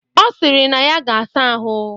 Ọ sịrị na ya ga-asa ahụ.